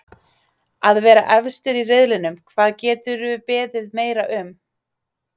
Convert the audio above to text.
Að vera efstir í riðlinum, hvað geturðu beðið meira um?